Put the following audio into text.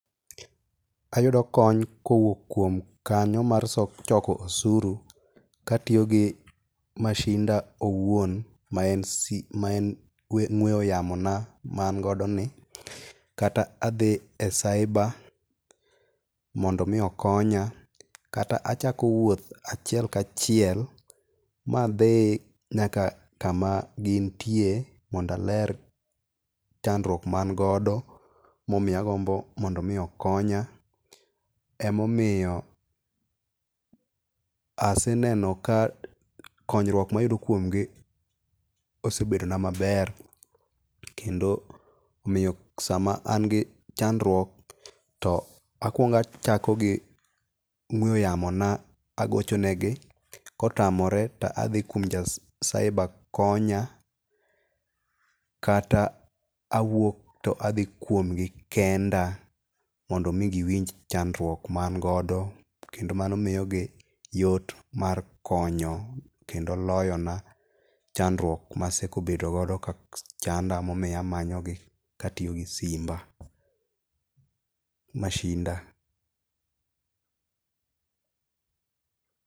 Ayudo kony kowuok kuom kanyo mar choko osuru katiyo gi masinda owuon maen sim maen ong'ue yamona ma an godoni kata adhi e cybre mondo mi okonya. Kata achako wuoth achiel ka achiel ma adhi nyaka kama gintie mondo aler chandruok ma an godo magombo mondo mi okonya. Emomiyo aseyudo ka konyruok ma ayud kuom gi osebedo na maber omiyo sama an gi chandruok to akuongo achako gi ong'ue yamona. Agocho negi, kotamore to adhi kuom ja cybre konya, kata awuok to adhi kuom gi kenda, mondo mi giwinj chandruok ma an godo. Kendo mano miyogi yot mar konyo kendo loyona chandruok ma aseko bedo godo kachanda momiyo amanyogi katiyo gi simba, masinda.